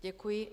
Děkuji.